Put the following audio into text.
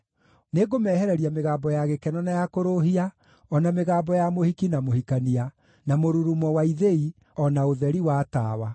Nĩngũmehereria mĩgambo ya gĩkeno na ya kũrũũhia, o na mĩgambo ya mũhiki na mũhikania, na mũrurumo wa ithĩi, o na ũtheri wa tawa.